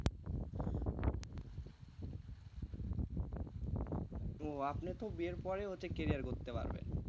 ও আপনি তো বিয়ের পরে ওতে career করতে পারবেন।